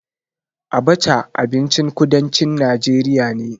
Abaca abincin kudancin najeriya ne.